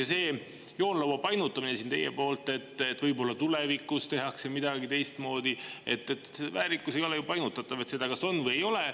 Ja see joonlaua painutamine siin teie poolt, et võib-olla tulevikus tehakse midagi teistmoodi – väärikus ei ole ju painutatav, seda kas on või ei ole.